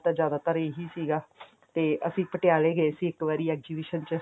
ਤਾਂ ਜ਼ਿਆਦਾ ਤਰ ਇਹੀ ਸੀਗਾ ਤੇ ਅਸੀਂ ਪਟਿਆਲੇ ਗਏ ਸੀ ਇੱਕ ਵਾਰੀ exhibition ਚ